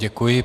Děkuji.